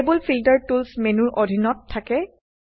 table filter tools মেনুৰ অধীনত থাকে